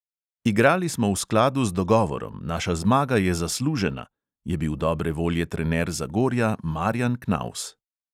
"Igrali smo v skladu z dogovorom, naša zmaga je zaslužena," je bil dobre volje trener zagorja marjan knaus.